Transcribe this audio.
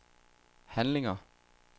handlinger